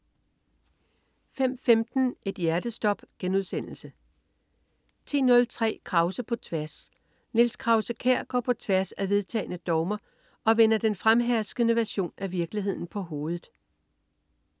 05.15 Et hjertestop* 10.03 Krause på tværs. Niels Krause-Kjær går på tværs af vedtagne dogmer og vender den fremherskende version af virkeligheden på hovedet